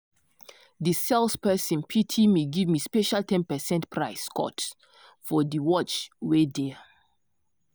di sales person pity me give me special ten percent price cut for di watch wey dear.